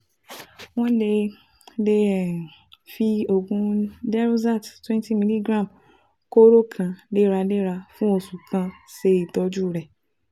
Wọ́n lè lè um fi oògùn Deroxat 20 mg, kóóró kan léraléra fún oṣù kan ṣe ìtọ́jú rẹ̀